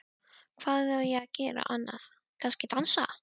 Hvað á ég að gera annað, kannski dansa?